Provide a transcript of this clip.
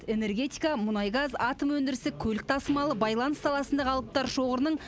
энергетика мұнай газ атом өндірісі көлік тасымалы байланыс саласындағы алыптар шоғырының